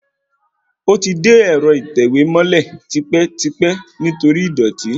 Ó ti de ẹ̀rọ ìtẹ̀wẹ́ mọ́lẹ̀ tipẹ́tipẹ́ nítorí ìdọ̀tí